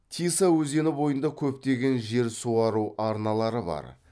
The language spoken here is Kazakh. тиса өзені бойында көптеген жер суару арналары бар